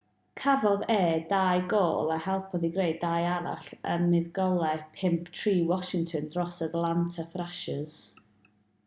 cafodd e 2 gôl a helpodd i greu 2 arall ym muddugoliaeth 5-3 washington dros yr atlanta thrashers